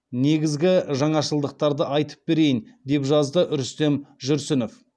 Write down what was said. негізгі жаңашылдықтарды айтып берейін деп жазды рүстем жүрсінов